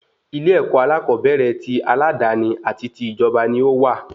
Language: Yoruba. Ilé-èkó alakobere ti aladani àti ti ijọba ní owà